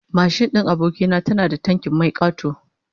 Mashin din aboki na tana da tankin mai kato